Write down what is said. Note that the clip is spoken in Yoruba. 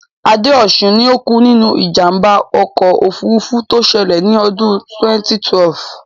Adéọ̀ṣun ni ó kú nínú ìjàmbá ọkọ̀ òfurufú tó ṣẹlẹ̀ ní ọdún 2012.